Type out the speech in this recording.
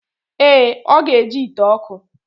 Ee, o ga-eji ite oku.